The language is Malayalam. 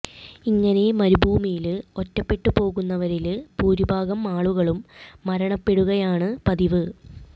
ഇങ്ങനെ മരുഭൂമിയില് ഒറ്റപ്പെട്ടു പോകുന്നവരില് ഭൂരിഭാഗം ആളുകളും മരണപ്പെടുകയാണ് പതിവ്